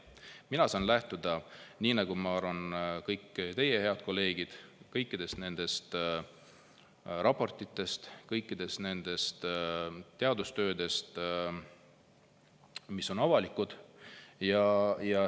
Mina saan lähtuda nagu kõik teie, head kolleegid, kõikidest nendest raportitest, kõikidest nendest teadustöödest, mis on avalikud.